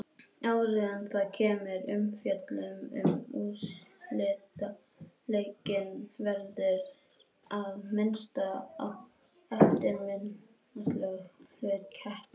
Áður en það kemur að umfjöllun um úrslitaleikinn verður að minnast á eftirminnilegasta hlut keppninnar.